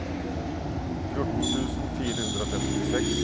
fjorten tusen fire hundre og femtiseks